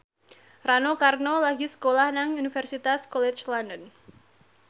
Rano Karno lagi sekolah nang Universitas College London